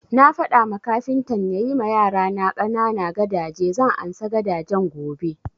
Na faɗa ma kafintan ya yi ma yarana ƙanana gadaje, zan ansa gadajen gobe